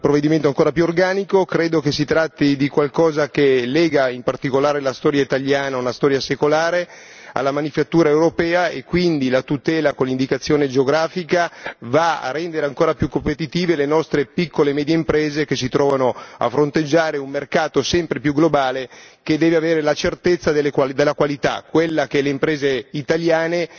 Credo che si tratti di qualcosa che lega in particolare la storia italiana, una storia secolare, alla manifattura europea e quindi la tutela con l'indicazione geografica va a rendere ancora più competitive le nostre piccole e medie imprese che si trovano a fronteggiare un mercato sempre più globale che deve avere la certezza della qualità, quella che le imprese italiane legano ai loro prodotti.